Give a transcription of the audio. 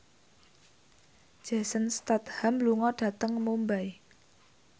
Jason Statham lunga dhateng Mumbai